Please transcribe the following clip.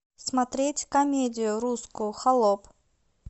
смотреть комедию русскую холоп